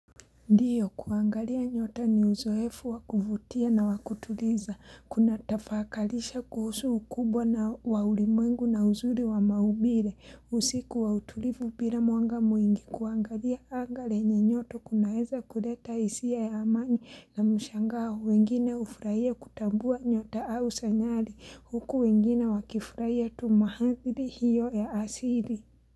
Ndio kuangalia nyota ni uzoefu wa kuvutia na wa kutuliza. Kuna tafakalisha kuhusu ukubwa wa ulimwengu na uzuri wa maumbire. Usiku wa utulivu bila mwanga mwingi. Kuangalia anga lenye nyoto kunaeza kuletaa hisia ya amani na mshangao. Wengine hufurahia kutambua nyota au sanyari. Huku wengine wakifurahia tu mahadhri hiyo ya asili.